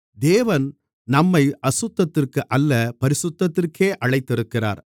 தேவன் நம்மை அசுத்தத்திற்கு அல்ல பரிசுத்தத்திற்கே அழைத்திருக்கிறார்